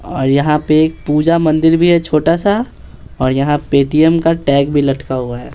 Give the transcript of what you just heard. और यहाँ पे एक पूजा मंदिर भी है छोटा सा और यहाँ पेटीएम का टैग भी लटका हुआ है।